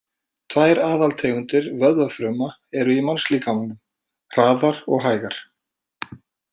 Tvær aðaltegundir vöðvafruma eru í mannslíkamanum, hraðar og hægar.